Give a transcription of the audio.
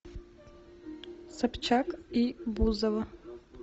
собчак и бузова